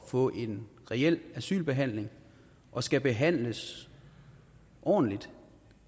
at få en reel asylbehandling og skal behandles ordentligt